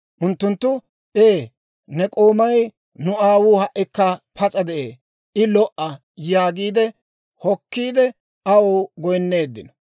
Unttunttu, «Ee, ne k'oomay, nu aawuu ha"ikka pas'a de'ee; I lo"a» yaagiide hokkiide aw goynneeddinno.